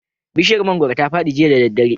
Bishiyar mangoro ta fadi jiya da daddare